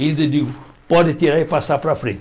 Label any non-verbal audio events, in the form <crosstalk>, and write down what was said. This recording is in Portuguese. <unintelligible> e digo, pode tirar e passar para frente.